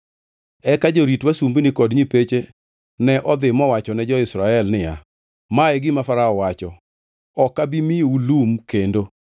Eka jorit wasumbini kod nyipeche ne odhi mowachone jo-Israel niya, “Ma e gima Farao wacho, ‘Ok abi miyou lum kendo.